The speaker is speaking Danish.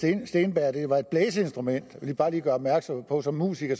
steenberg at det var et blæseinstrument jeg vil bare lige gøre opmærksom på som musiker